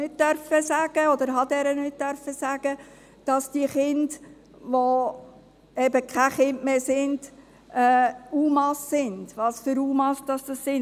Ich durfte ihr nicht sagen, dass die Kinder, die eben keine Kinder mehr sind, UMA sind und welche Art UMA es sind.